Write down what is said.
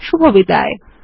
শুভবিদায়